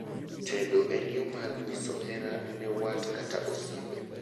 tedo en yoo mar nyiso hera ne wat kata osiepe